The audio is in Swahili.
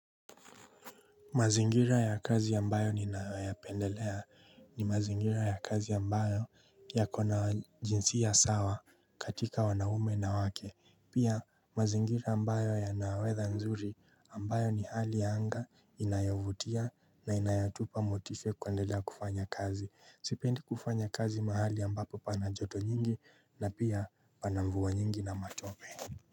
Mazingira ya kazi ambayo ninayoyapendelea ni mazingira ya kazi ambayo yako na jinsia sawa katika wanaume na wake. Pia mazingira ambayo yana weather nzuri ambayo ni hali ya anga inayovutia na inayotupa motisha kuendelea kufanya kazi. Sipendi kufanya kazi mahali ambapo pana joto nyingi na pia pana mvua nyingi na matope.